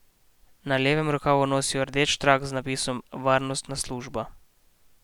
Na levem rokavu nosijo rdeč trak z napisom Varnostna služba.